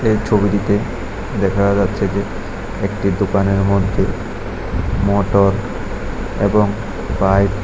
এই ছবিটিতে দেখা যাচ্ছে যে একটি দোকানের মধ্যে মোটর এবং পাইপ ।